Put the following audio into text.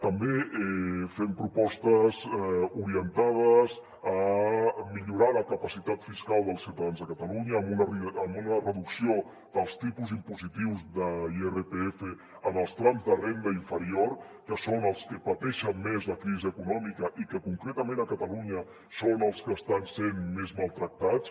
també fem propostes orientades a millorar la capacitat fiscal dels ciutadans de catalunya amb una reducció dels tipus impositius de l’irpf en els trams de renda inferior que són els que pateixen més la crisi econòmica i que concretament a catalunya són els que estan sent més maltractats